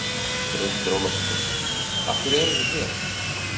Brynhildur Ólafsdóttir: Af hverju eruð þið hér?